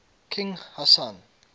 king hassan